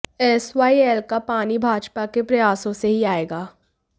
SYL का पानी भाजपा के प्रयासों से ही आएगा